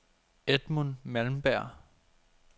Edmund Malmberg